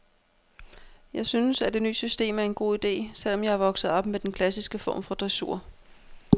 Jeg synes, at det ny system er en god ide, selv om jeg er vokset op med den klassiske form for dressur.